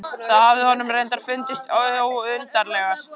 Það hafði honum reyndar fundist undarlegast.